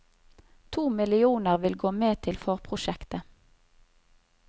To millioner vil gå med til forprosjektet.